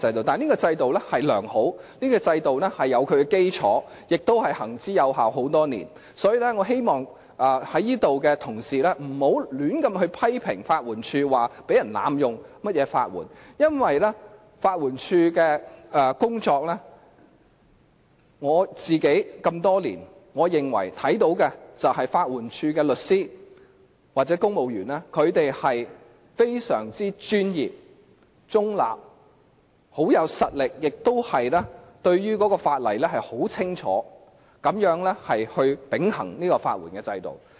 但是，這制度是良好、有基礎及多年來行之有效的；所以，我希望同事不要胡亂批評法援署，說有人濫用法援，因為就法援署的工作來說，我自己多年來看到的是，我認為法援署的律師或公務員均非常專業而中立地秉行法援制度，而且他們很有實力，對法例亦十分清楚。